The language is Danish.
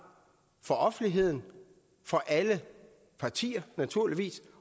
for offentligheden for alle partier naturligvis